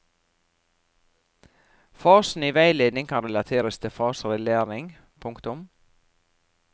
Fasene i veiledningen kan relateres til faser i læring. punktum